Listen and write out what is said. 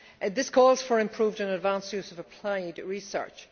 This calls for improved and advance use of applied research.